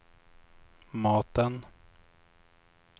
maten